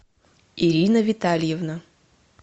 ирина витальевна